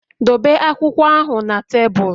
Dobe akwụkwọ ahụ na tebụl!